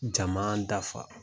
Jama dafa.